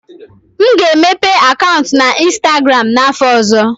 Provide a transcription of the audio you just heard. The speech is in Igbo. M ga-emepe akaụntụ na ịnstagram n'afọ ọzọ